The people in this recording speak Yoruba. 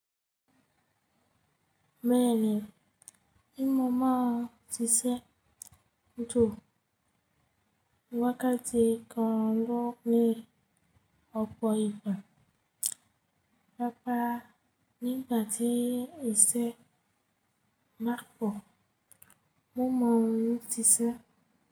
Mẹ́rin. Ímọ̀ mọ̀ ọ́n ṣiṣẹ́ tó wákàtí kan lọ ní ọ̀pọ̀ ìgbà. Rárá, nígbà tí ìṣẹ̀ má pọ̀, mo maa n ṣiṣẹ́.